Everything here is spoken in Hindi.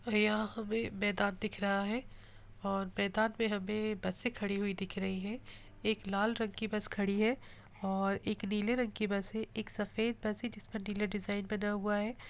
यह हमें मैदान दिख रहा है और मैदान में हमें बसे खड़ी हुई दिख रही है एक लाल रंग की बस खड़ी है और एक नीले रंग की बस है एक सफ़ेद बस है जिस पर नीला डिज़ाइन बना हुआ है ।